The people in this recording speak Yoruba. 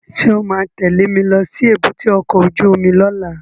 Sọ ma tẹ́lẹ̀ mi lọ sí èbúté ọkọ̀ óju omi lọ́la?